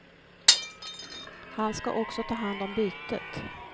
Han ska också ta hand om bytet.